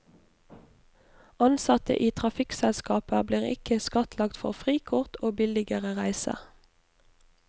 Ansatte i trafikkselskaper blir ikke skattlagt for frikort og billigere reiser.